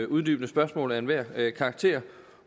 uddybende spørgsmål af enhver karakter